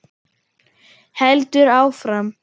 Heldur áfram: